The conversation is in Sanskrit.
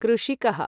कृषिकः